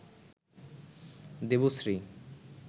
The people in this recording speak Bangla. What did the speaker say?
দেবশ্রী